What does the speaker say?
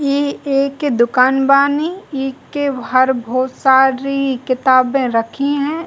ई एके दुकान बानी ई के हर भोत सारी क़िताबें रखी हैं।